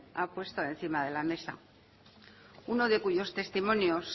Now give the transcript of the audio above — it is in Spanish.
ha puesto encima de la mesa uno de cuyos testimonios